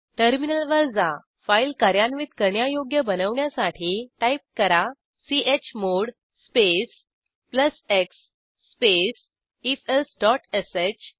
terminal वर जा file कार्यान्वित करण्यायोग्य बनवण्यासाठी टाईप करा chmod space plus x space ifelseश